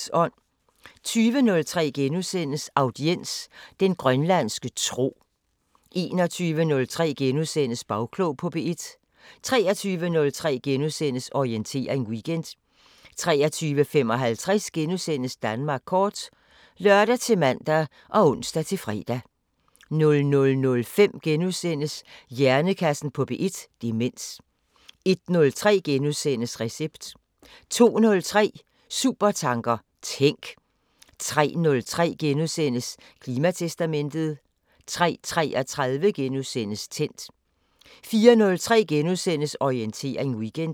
20:03: Audiens: Den grønlandske tro * 21:03: Bagklog på P1 * 23:03: Orientering Weekend * 23:55: Danmark kort *(lør-man og ons-fre) 00:05: Hjernekassen på P1: Demens * 01:03: Recept * 02:03: Supertanker: Tænk! 03:03: Klimatestamentet * 03:33: Tændt * 04:03: Orientering Weekend *